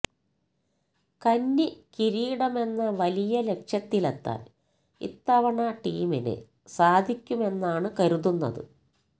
കന്നി കിരീടമെന്ന വലിയ ലക്ഷ്യത്തിലെത്താൻ ഇത്തവണ ടീമിന് സാധിക്കുമെന്നാണ് കരുതുന്നത്